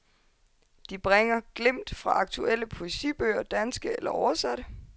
De bringer glimt fra aktuelle poesibøger, danske eller oversatte.